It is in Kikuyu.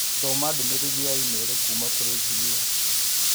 Thoma ndũmĩrĩri ya i-mīrū kuuma kũrĩ Julia.